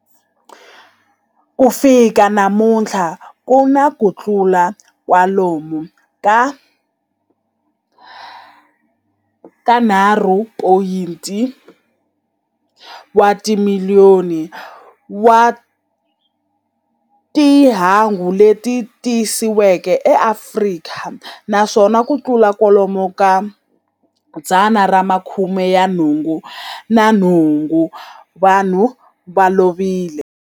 Ku fika namuntlha ku na kutlula kwalomu ka 3.5 wa timiliyoni wa timhangu leti tiyisisiweke eAfrika, naswona kutlula kwalomu ka 88,000 wa vanhu va lovile.